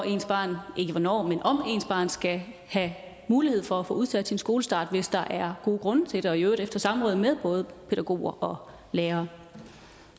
ens barn skal have mulighed for at få udsat sin skolestart hvis der er gode grunde til det og i øvrigt efter samråd med både pædagoger og lærere